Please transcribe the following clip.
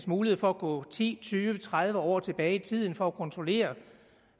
mulighed for at gå ti tyve tredive år tilbage i tiden for at kontrollere